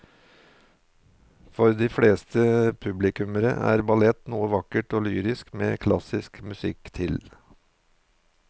For de fleste publikummere er ballett noe vakkert og lyrisk med klassisk musikk til.